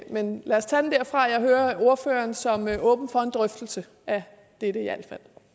men lad os tage den derfra jeg hører ordføreren som værende åben for en drøftelse af dette i al